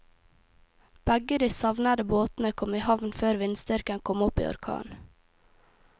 Begge de savnede båtene kom i havn før vindstyrken kom opp i orkan.